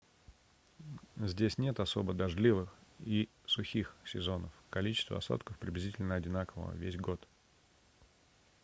здесь нет особо дождливых и сухих сезонов количество осадков приблизительно одинаково весь год